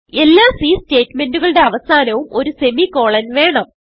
എല്ലാ C statement കളുടെ അവസാനവും ഒരു സെമിക്കോളൻ വേണം